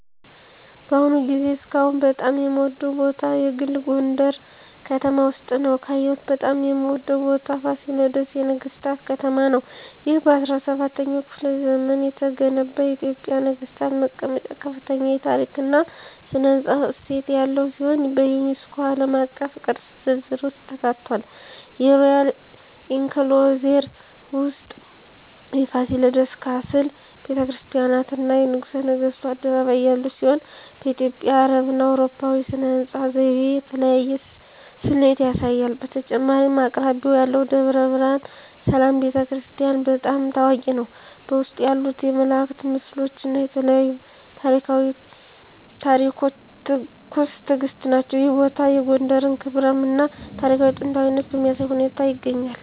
በአሁኑ ጊዜ እስካሁን በጣም የምወደዉ ቦታ የግል ጎንደረ ከተማ ውስጥ ነዉ። ካየሁት በጣም የምወደው ቦታ ፋሲለደስ የነገሥታት ከተማ ነው። ይህ በ17ኛው ክፍለ ዘመን የተገነባ የኢትዮጵያ ነገሥታት መቀመጫ ከፍተኛ የታሪክ እና ሥነ ሕንፃ እሴት ያለው ሲሆን፣ በዩኔስኮ ዓለም አቀፍ ቅርስ ዝርዝር ውስጥ ተካትቷል። የሮያል ኢንክሎዜር ውስጥ የፋሲለደስ ካስል፣ ቤተ ክርስቲያናት፣ እና የንጉሠ ነገሥቱ አደባባይ ያሉት ሲሆን፣ በኢትዮጵያ፣ አረብና አውሮፓዊ ሥነ ሕንፃ ዘይቤ የተለያየ ስሌት ያሳያል። በተጨማሪም አቅራቢያው ያለው ደብረ ብርሃን ሰላም ቤተ ክርስቲያን** በጣም ታዋቂ ነው፣ በውስጡ ያሉት የመላእክት ምስሎች እና የተለያዩ ታሪኳዊ ታሪኮች ትኩስ ትእግስት ናቸው። ይህ ቦታ የጎንደርን ክብራም እና ታሪካዊ ጥንታዊነት በሚያሳይ ሁኔታ ይገኛል።